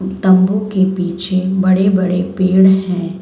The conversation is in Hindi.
तम्बू के पीछे बड़े-बड़े पेड़ हैं।